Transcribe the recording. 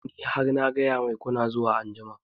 Ni ai har na gaya mai kuna zuwa anjima